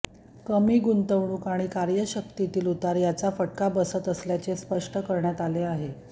कमी गुंतवणूक आणि क्रयशक्तीतील उतार याचा फटका बसत असल्याचे स्पष्ट करण्यात आले आहे